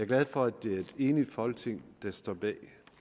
glad for at det er et enigt folketing der står bag